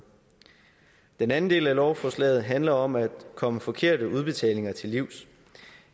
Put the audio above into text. den anden del af lovforslaget handler om at komme forkerte udbetalinger til livs